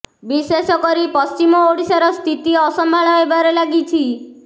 ବିଶେଷ କରି ପଶ୍ଚିମ ଓଡ଼ିଶାର ସ୍ଥିତି ଅସମ୍ଭାଳ ହେବାରେ ଲାଗିଛି